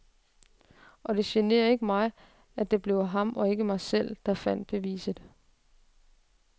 Og det generer ikke mig, at det blev ham og ikke mig selv, der fandt beviset.